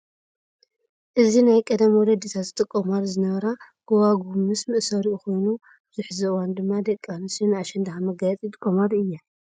እዚ ናይ ቀደም ወለድታት ዝጥቀማሉ ዝነበራ ገዋጉው ምስ መእሰሪኡ ኮይኑ ኣብዚ ሕዚ እዋን ድማ ደቂ ኣንስትዮ ንኣሸንዳ ከም መጋየፂ ይጥቀማሉ እየን ።